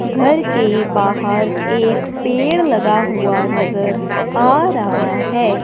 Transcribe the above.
घर के बाहर एक पेड़ लगा हुआ नजर आ रहा है।